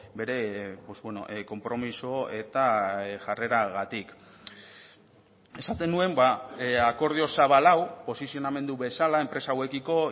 bere konpromiso eta jarreragatik esaten nuen akordio zabal hau posizionamendu bezala enpresa hauekiko